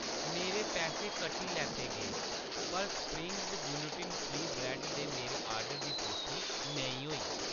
मेरे पैसे कट्टी लैते गे, पर स्प्रिंग ग्लुटन फ्री ब्रैड्ड दे मेरे आर्डर दी पुश्टि नेईं होई